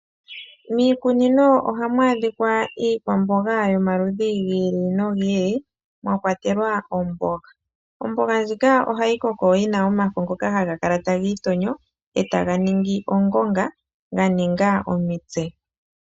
Miikunino ohamu adhika iikwamboga yomaludhi gi ili nogi ili mwa kwatelwa omboga. Omboga ndjika ohayi koko yi na omafo ngoka haga kala taga itonyo e taga ningi ongonga ga ninga omitse.